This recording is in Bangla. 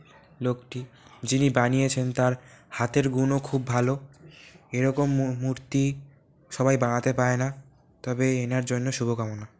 লোকটি যিনি বানিয়েছেন তার হাতের গুণও খুব ভালো | এরকম মূ-মূর্তি সবাই বানাতে পারে না তবে ইনার জন্য শুভকামনা ।